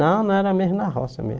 Não, não era mesmo na roça mesmo.